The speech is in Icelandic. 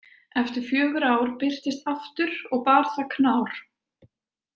Eftir fjögur ár birtist aftur, og bar það knár.